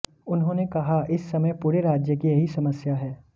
उन्होंने कहा इस समय पुरे राज्य की यही समस्या है